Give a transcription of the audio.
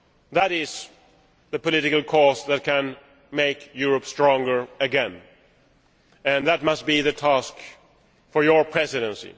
That is the political course that can make Europe stronger again, and that must be the task for your Presidency.